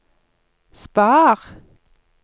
spar